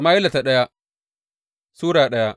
daya Sama’ila Sura daya